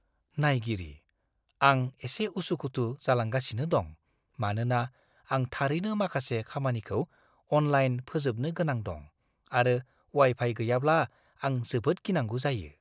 नायगिरिः "आं एसे उसु-खुथु जालांगासिनो दं, मानोना आं थारैनो माखासे खामानिखौ अनलाइन फोजोबनो गोनां दं, आरो वाइ-फाइ गैयाब्ला आं जोबोद गिनांगौ जायो।"